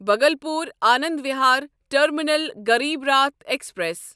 Bhagalpur Anand Vihar terminal Garib Rath express